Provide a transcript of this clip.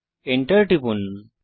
Enter টিপুন